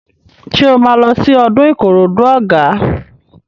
Ṣé o máa lọ sí ọdún Ìkòròdú Ọ̀gá?